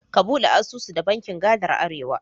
Ka ɓude asusu da bankin gadar Arewa.